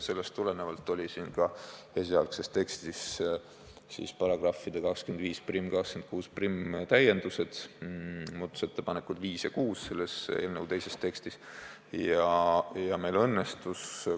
Sellest tulenevalt olid esialgses tekstis §-de 251 ja 261 täiendused, eelnõu teises tekstis olid need muudatusettepanekud nr 5 ja 6.